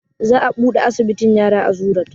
Za a buɗe asibitin yara a zoo road